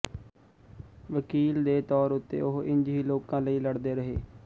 ਵਕੀਲ ਦੇ ਤੌਰ ਉੱਤੇ ਉਹ ਇੰਜ ਹੀ ਲੋਕਾਂ ਲਈ ਲੜਦੇ ਰਹੇ